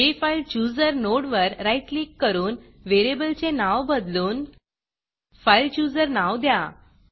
जेफाईलचूजर नोडवर right click करून व्हेरिएबलचे नाव बदलून fileChooserफाइल चुजर नाव द्या